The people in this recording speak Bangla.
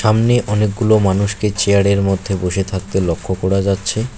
সামনে অনেকগুলো মানুষকে চেয়ারের মধ্যে বসে থাকতে লক্ষ্য করা যাচ্ছে।